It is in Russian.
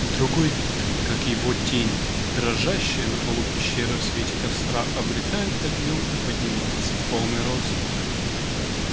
другой вид как его тень дрожащая на полу пещеры в свете костра обретает объём и поднимается в полный рост